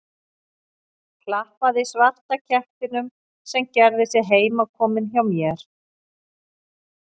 Klappaði svarta kettinum sem gerði sig heimakominn hjá mér.